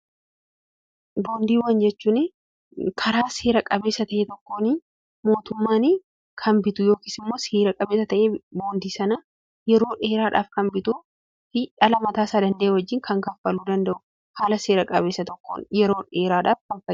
Boomdii jechuun karaa seera qabeessa ta'e tokkoon mootummaan kan bitu yookiis immoo seera qabeessa ta'ee boondii sana yeroo dheeraadhaaf kan bituu fi dhala mataa isaa danda'e wajjin kan kaffaluu danda'u, haala seera qabeessa tokkoon yeroo dheeraaadhaaf kan fayyaduudha.